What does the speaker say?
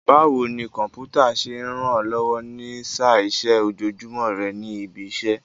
Báwo ni Kọ̀m̀pútà ṣe ń ràn ẹ́ lọ́wọ́ ní í sá iṣẹ́ ojoojúmọ́ rẹ ní ibi iṣẹ́?